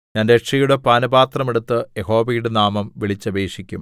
ഞാൻ രക്ഷയുടെ പാനപാത്രം എടുത്ത് യഹോവയുടെ നാമം വിളിച്ചപേക്ഷിക്കും